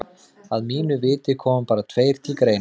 Að mínu viti koma bara tveir til greina.